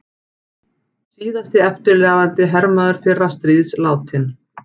Síðasti eftirlifandi hermaður fyrra stríðs látinn